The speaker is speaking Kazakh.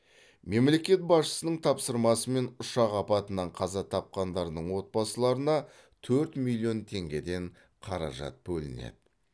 мемлекет басшысының тапсырмасымен ұшақ апатынан қаза тапқандардың отбасыларына төрт миллион теңгеден қаражат бөлінеді